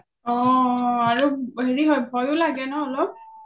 অ অ আৰু হেৰি হয় ভয়ও লাগে ন অলপ